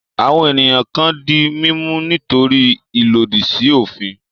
Àwọn ènìyàn kan di mímú nítorí ìlòdì sí òfin.